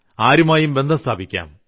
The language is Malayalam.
ആരുമായും ബന്ധം സ്ഥാപിക്കാം